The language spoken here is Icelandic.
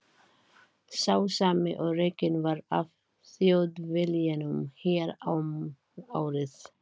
Sá sami og rekinn var af Þjóðviljanum hér um árið.